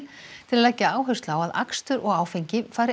til að leggja áherslu á að akstur og áfengi fari